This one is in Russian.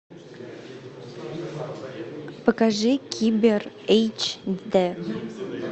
покажи кибер эйч дэ